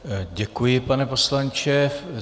Děkuji, pane poslanče.